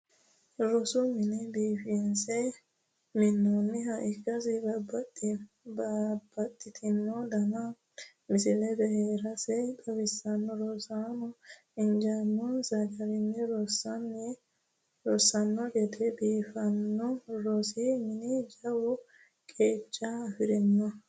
Rosu mine biifinse minnoonniha ikkasi babbaxitino danina misilla heerasi xawissanno. Rosaano injiinonsa garinni rossanno gede biifino rosi mini jawa qeecha afirino.